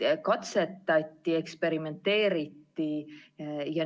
Katsetati, eksperimenteeriti.